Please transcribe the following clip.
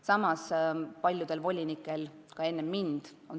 Samas on see puudu olnud paljudel volinikel ka enne mind.